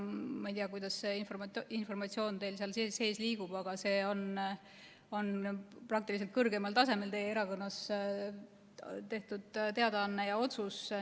Ma ei tea, kuidas see informatsioon teil seal sees liigub, aga see on peaaegu et kõrgemal tasemel teie erakonnas tehtud teadaanne ja otsus.